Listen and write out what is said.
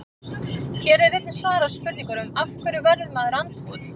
Hér er einnig svarað spurningunum: Af hverju verður maður andfúll?